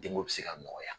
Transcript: Denko bɛ se ka nɔgɔya